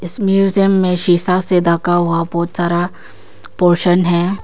इस म्यूजियम में शीशा से ढका हुआ बहुत सारा पोर्शन है।